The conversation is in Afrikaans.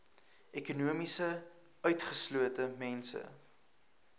ekonomies utgeslote mense